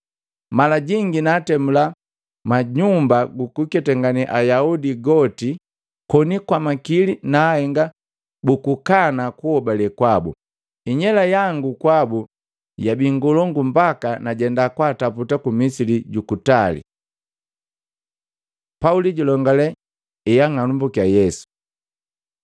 Malajingi naatemula munyumba jukuketangane ayaudi yoti koni na kwa makili naahenga bukukana kuhobale kwabu. Inyela yangu kwabu jabi ngolongu mbaka najenda kwaataputa ku misi jukutali.” Pauli julongale heang'anambukiya Yesu Matei 9:1-19; 22:6-16